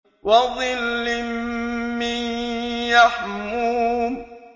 وَظِلٍّ مِّن يَحْمُومٍ